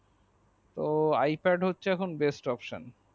ও iPad হচ্ছে এখন best opsan